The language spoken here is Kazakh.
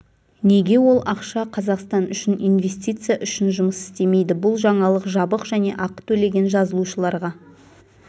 неге ол ақша қазақстан үшін инвестиция үшін жұмыс істемейді бұл жаңалық жабық және ақы төлеген жазылушыларға